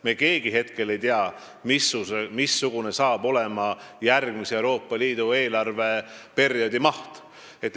Me keegi hetkel ei tea, missugune on Euroopa Liidu järgmise eelarveperioodi maht.